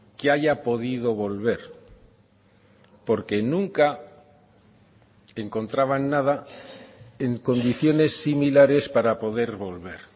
que haya podido volver porque nunca encontraban nada en condiciones similares para poder volver